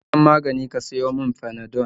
Je ka gidan magani ka sayo mun panadol